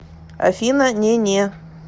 афина не не